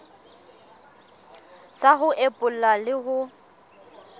sa ho epolla le ho